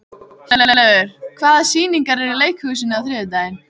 Hjörleifur, hvaða sýningar eru í leikhúsinu á þriðjudaginn?